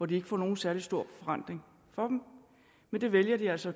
de ikke får nogen særlig stor forrentning men det vælger de altså